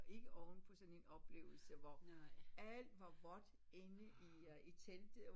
Og ikke ovenpå sådan en oplevelse hvor alt var vådt inde i øh telte